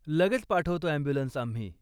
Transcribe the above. लगेच पाठवतो ॲम्ब्युलन्स आम्ही.